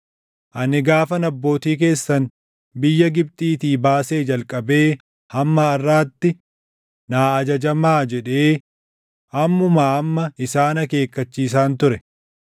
Ani gaafan abbootii keessan biyya Gibxiitii baasee jalqabee hamma harʼaatti, “Naa ajajamaa” jedhee ammumaa amma isaan akeekkachiisaan ture.